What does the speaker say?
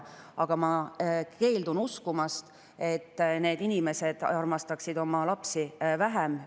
Aga ma keeldun uskumast, et need inimesed armastaksid oma lapsi vähem.